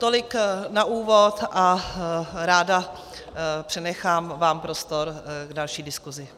Tolik na úvod a ráda přenechám vám prostor k další diskusi.